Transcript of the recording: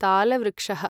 तालवृक्षः